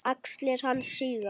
Axlir hans síga.